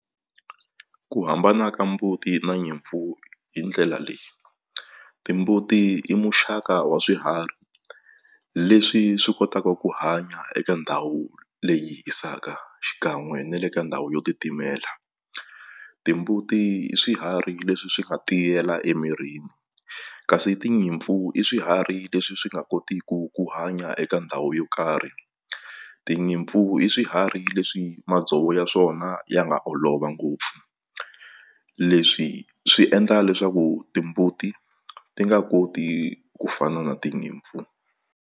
Ku hambana ka mbuti na nyimpfu hi ndlela leyi timbuti i muxaka wa swiharhi leswi swi kotaka ku hanya eka ndhawu leyi hisaka xikan'we na le ka ndhawu yo titimela timbuti i swiharhi leswi swi nga tiyela emirini kasi tinyimpfu i swiharhi leswi swi nga kotiku ku hanya eka ndhawu yo karhi tinyimpfu i swi hayi leswi madzovo ya swona ya nga olova ngopfu leswi swi endla leswaku timbuti ti nga koti ku fana na tinyimpfu.